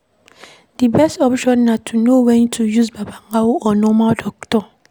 Di best option na to know when to use babalawo or normal doctor